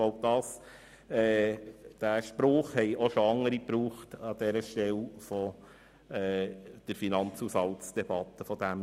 Diesen Spruch haben auch schon andere an dieser Stelle während der Finanzdebatte benutzt.